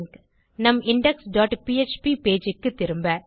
நம் index dot PHP page க்குத்திரும்ப